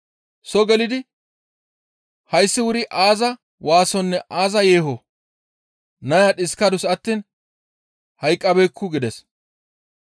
Soo gelidi, «Hayssi wuri aaza waasonne aaza yeehoo? Naya dhiskadus attiin hayqqabeekku» gides.